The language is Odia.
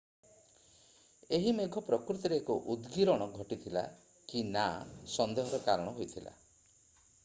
ଏହି ମେଘ ପ୍ରକୃତରେ ଏକ ଉଦଗୀରଣ ଘଟିଥିଲା କି ନା ସନ୍ଦେହର କାରଣ ହୋଇଥିଲା